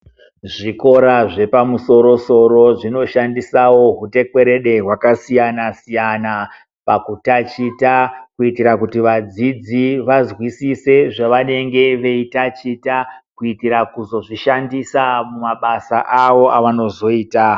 Zvikora zvepamusoro- soro zvinoshandisawo utekwerede hwakasiyana- siyana pakutaticha, kuitira kuti vadzidzi vazwisise zvavanenge veitaticha, kuitira kuzozvishandisa mumabasa awo avanozoita.